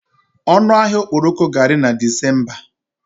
Ọnụ ahịa okporoko ga-ari na Disemba.